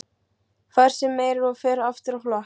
Fær sér meira og fer aftur á flakk.